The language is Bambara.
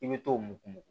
I bɛ t'o mugu